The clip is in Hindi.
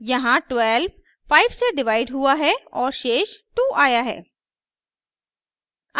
यहाँ 12 5 से डिवाइड हुआ है और शेष 2आया है